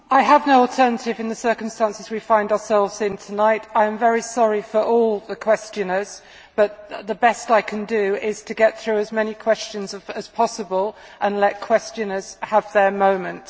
I have no alternative in the circumstances we find ourselves in tonight. I am very sorry for all the questioners, but the best I can do is to get through as many questions as possible and let questioners have their moment.